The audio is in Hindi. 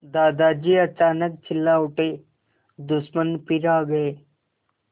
दादाजी अचानक चिल्ला उठे दुश्मन फिर आ गए